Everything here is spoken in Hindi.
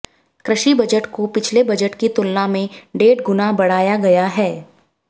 कृषि बजट को पिछले बजट की तुलना में डेढ़ गुना बढ़ाया गया है